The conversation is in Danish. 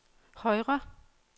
højre